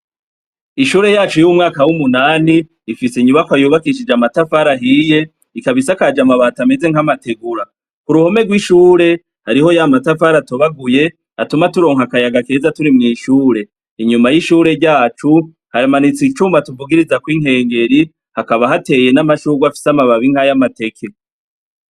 Ishure yacu y'umwaka w'umunani ifise inyubako ayubakishije amatafari ahiye ikabisakaje amabato ameze nk'amategura, ku ruhome rw'ishure hariho ya matafara atobaguye atuma turonka akayaga keza turi mw'ishure, inyuma y'ishure ryacu haramanitsa icumba tuvugiriza kw'inkengeri hakaba hateye n'amashurwa afise amababinkay'amateke.